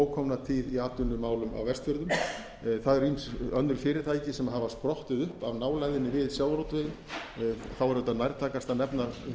ókomna tíð í atvinnumálum á vestfjörðum það eru ýmis önnur fyrirtæki sem hafa sprottið upp af nálægðinni við sjávarútveginn þá er auðvitað nærtækast að nefna